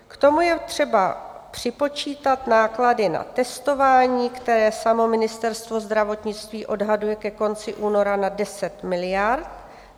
K tomu je třeba připočítat náklady na testování, které samo Ministerstvo zdravotnictví odhaduje ke konci února na 10 miliard."